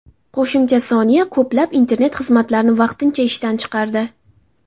Qo‘shimcha soniya ko‘plab internet xizmatlarini vaqtincha ishdan chiqardi.